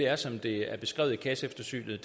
er som det er beskrevet i kasseeftersynet